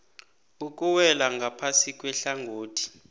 okuwela ngaphasi kwehlangothi